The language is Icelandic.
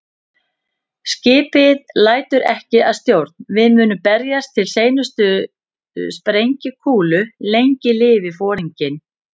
Skipið lætur ekki að stjórn, við munum berjast til seinustu sprengikúlu- lengi lifi Foringinn